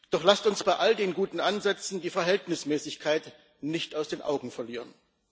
Doch lasst uns bei all den guten Ansätzen die Verhältnismäßigkeit nicht aus den Augen verlieren.